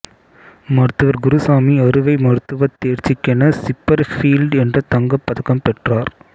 மருத்துவர் குருசாமி அறுவை மருத்துவத் தேர்ச்சிக்கென சிப்பர் பீல்டு என்ற தங்கப் பதக்கம் பெற்றார்